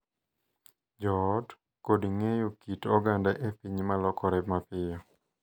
Jo ot, kod ng’eyo kit oganda e piny ma lokore mapiyo.